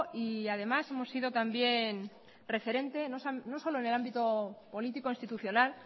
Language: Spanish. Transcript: y además hemos sido también referente no solo en el ámbito político institucional